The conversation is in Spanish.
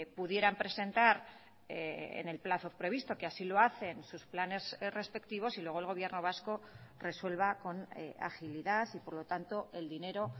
pudieran presentar en el plazo previsto que así lo hacen sus planes respectivos y luego el gobierno vasco resuelva con agilidad y por lo tanto el dinero